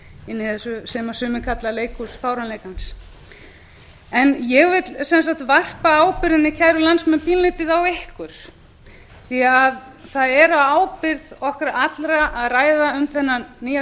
inni í þessu sem sumir kalla leikhús fáránleikans ég vil sem sagt varpa ábyrgðinni kæru landsmenn pínulítið okkur því að það er á ábyrgð okkar allra að ræða um þennan nýja